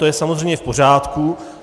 To je samozřejmě v pořádku.